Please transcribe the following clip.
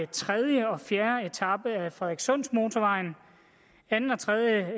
tredje og fjerde etape af frederikssundsmotorvejen anden og tredje